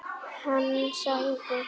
Hann sagði: